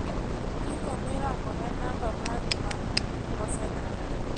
gigo mirango en namba mari ma osedak